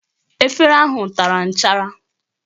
Efere ahụ tara nchara